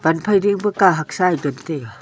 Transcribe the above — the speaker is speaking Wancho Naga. phai kahak sa te taiga.